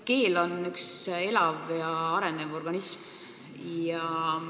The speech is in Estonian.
Keel on elav ja arenev organism.